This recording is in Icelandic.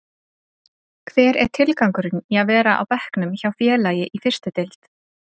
Hver er tilgangurinn í að vera á bekknum hjá félagi í fyrstu deild?